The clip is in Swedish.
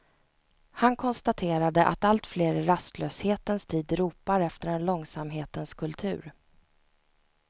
Han konstaterade att alltfler i rastlöshetens tid ropar efter en långsamhetens kultur.